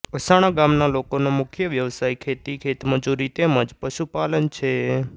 અસાણા ગામના લોકોનો મુખ્ય વ્યવસાય ખેતી ખેતમજૂરી તેમ જ પશુપાલન છે